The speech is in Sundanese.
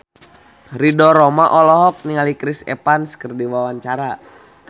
Ridho Roma olohok ningali Chris Evans keur diwawancara